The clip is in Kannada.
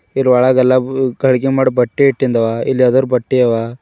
ಇದರ್ ಒಳಗೆಲ್ಲ ಉ- ಕರೆದಿ ಮಾಡೋ ಬಟ್ಟೆ ಇಟ್ಟಿನ್ದವಇಲ್ ಲೆದರ್ ಬಟ್ಟಿ ಅವ.